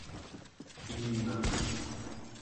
ирина